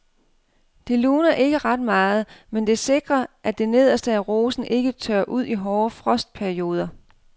Det luner ikke ret meget, men det sikrer at det nederste af rosen ikke tørrer ud i hårde frostperioder.